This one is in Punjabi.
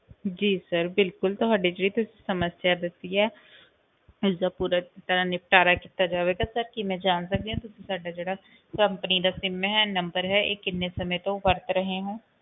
ਜੀ sir ਬਿਲਕੁਲ ਤੁਹਾਡੀ ਜਿਹੜੀ ਤੁਸੀਂ ਸਮੱਸਿਆ ਦੱਸੀ ਹੈ ਇਸਦਾ ਪੂਰਾ ਤਰ੍ਹਾਂ ਨਿਪਟਾਰਾ ਕੀਤਾ ਜਾਵੇਗਾ sir ਕੀ ਮੈਂ ਜਾਣ ਸਕਦੀ ਹਾਂ ਤੁਸੀਂ ਸਾਡਾ ਜਿਹੜਾ company ਦਾ sim ਹੈ number ਹੈ ਇਹ ਕਿੰਨੇ ਸਮੇਂ ਤੋਂ ਵਰਤ ਰਹੇ ਹੋ?